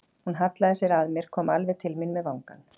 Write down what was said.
Hún hallaði sér að mér, kom alveg til mín með vangann.